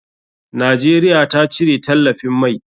Najeriya ta cire talafin mai.